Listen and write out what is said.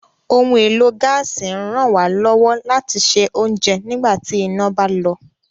Ohun èlò gaasi ń ràn wá lọ́wọ́ láti sè ounjẹ nígbà tí iná bá lọ